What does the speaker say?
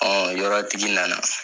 yɔrɔtigi nana